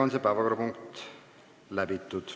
Selle päevakorrapunkti arutelu on lõppenud.